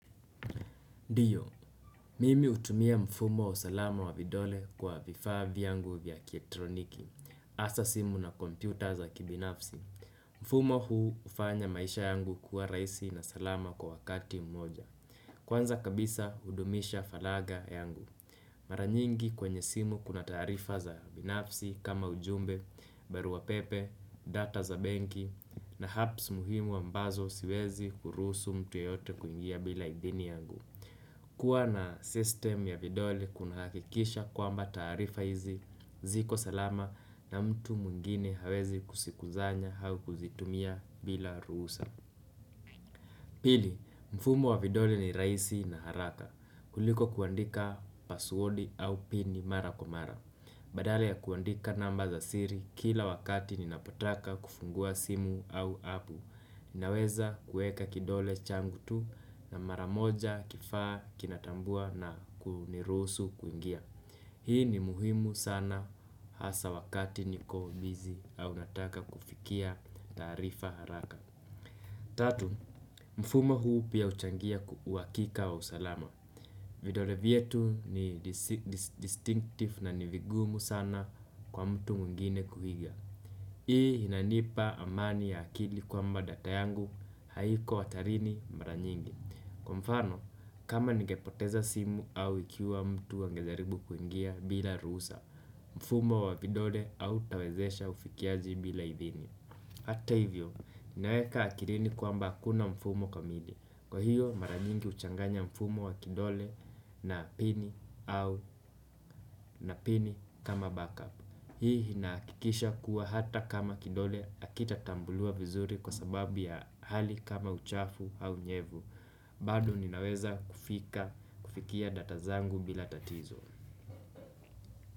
Ndiyo, mimi hutumia mfumo wa salama wa vidole kwa vifaa vyangu vya kietroniki. hAsa simu na kompyuta za kibinafsi. Mfumo huu hufanya maisha yangu kuwa rahisi na salama kwa wakati mmoja. Kwanza kabisa, hudumisha faragha yangu. Mara nyingi kwenye simu kuna taarifa za binafsi kama ujumbe, barua pepe, data za benki, na apps muhimu ambazo siwezi kuruhusu mtu yeyote kuingia bila idhini yangu. Kuwa na system ya vidole kunahakikisha kwamba taarifa hizi, ziko salama na mtu mwingine hawezi kusikusanya au kuzitumia bila ruhusa. Pili, mfumo wa vidole ni rahisi na haraka. Kuliko kuandika password au pin mara kwa mara. Badala ya kuandika namba za siri kila wakati ninapotaka kufungua simu au apu. Naweza kueka kidole changu tu na mara moja kifaa kinatambua na kunirusu kuingia. Hii ni muhimu sana hasa wakati niko busy au nataka kufikia taarifa haraka. Tatu, mfumo huu pia huchangia uhakika wa usalama. Vidole vyetu ni distinctive na ni vigumu sana kwa mtu mwingine kuiga. Hii inanipa amani ya akili kwamba data yangu haiko hatarini mara nyingi. Kwa mfano, kama ningepoteza simu au ikiwa mtu angejaribu kuingia bila ruhusa, mfumo wa vidolle hautawezesha ufikiaji bila idhini. Hata hivyo, ninaweka akilini kwamba hakuna mfumo kamili. Kwa hiyo, mara nyingi huchanganya mfumo wa kidole na pini au na pini kama backup. Hii inahakikisha kuwa hata kama kidole hakitatambuliwa vizuri kwa sababu ya hali kama uchafu nyevu. Bado ninaweza kufika, kufikia data zangu bila tatizo.